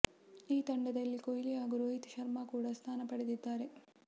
ಈ ತಂಡದಲ್ಲಿ ಕೊಹ್ಲಿ ಹಾಗೂ ರೋಹಿತ್ ಶರ್ಮಾ ಕೂಡ ಸ್ಥಾನ ಪಡೆದಿದ್ದಾರೆ